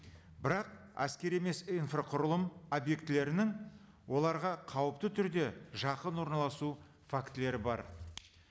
бірақ әскери емес инфрақұрылым объектілерінің оларға қауіпті түрде жақын орналасу фактілері бар